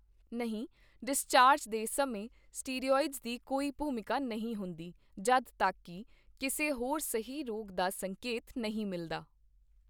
ਨਹੀਂ, ਡਿਸਚਾਰਜ ਦੇ ਸਮੇਂ ਸਟੀਰੌਇਡਜ਼ ਦੀ ਕੋਈ ਭੂਮਿਕਾ ਨਹੀਂ ਹੁੰਦੀ ਜਦ ਤੱਕ ਕੀ ਕਿਸੇ ਹੋਰ ਸਹਿ ਰੋਗ ਦਾ ਸੰਕੇਤ ਨਹੀਂ ਮਿਲਦਾ।